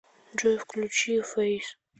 джой включи фэйс